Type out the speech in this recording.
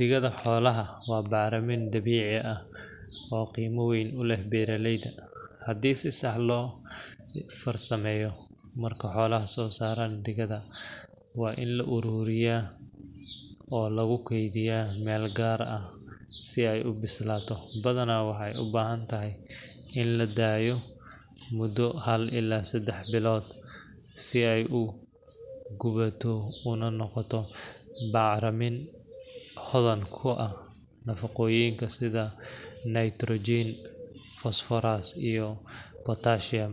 Digada xoolaha waa bacramin dabiici ah oo qiimo weyn u leh beeraleyda, haddii si sax ah loo farsameeyo. Marka xooluhu soo saaraan digada, waa in la ururiyaa oo lagu keydiyaa meel gaar ah si ay u bislaato badanaa waxay u baahan tahay in la daayo muddo hal ilaa seddex bilood si ay u gubato una noqoto bacramin hodan ku ah nafaqooyinka sida nitrogen, phosphorus iyo potassium.